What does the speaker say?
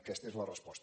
aquesta és la resposta